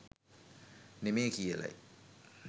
නෙමේ කියලයි.